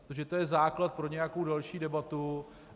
Protože to je základ pro nějakou další debatu.